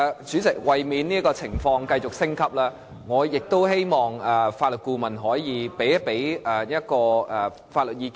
主席，為免情況繼續升級，我希望法律顧問可以向議員提供一些法律意見。